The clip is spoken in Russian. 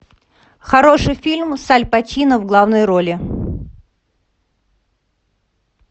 хороший фильм с аль пачино в главной роли